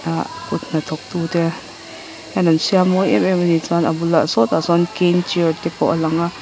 ah kut hnathawk tu te hian an siam mawi em em a ni chuan a bulah saw tah sawn te pawh a lang a.